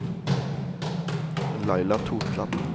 Laila Totland